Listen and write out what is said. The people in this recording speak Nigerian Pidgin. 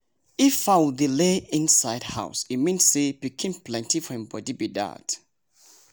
if fowl dey lay inside house e mean say pikin plenty for hin body be dat